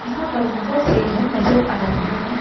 यहाँ पर बहुत से घर नजर आ रहे हैं।